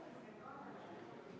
V a h e a e g